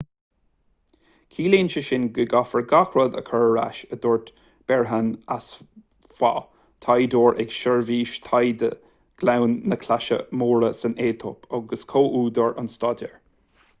ciallaíonn sé sin go gcaithfear gach rud a chur ar ais a dúirt berhane asfaw taighdeoir ag seirbhís taighde ghleann na claise móire san aetóip agus comhúdar an staidéir